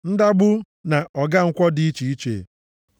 ndagbụ na ọgankwọ dị iche iche,